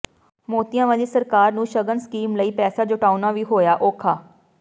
ਮੋਤੀਆਂ ਵਾਲੀ ਸਰਕਾਰ ਨੂੰ ਸ਼ਗਨ ਸਕੀਮ ਲਈ ਪੈਸਾ ਜਟਾਉਣਾ ਵੀ ਹੋਇਆ ਔੌਖਾ